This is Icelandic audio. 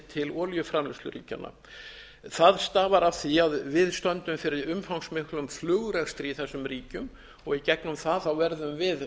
til olíuframleiðsluríkjanna það stafar af því að við stöndum fyrir umfangsmiklum flugrekstri í þessum ríkjum og í gegnum það verðum við með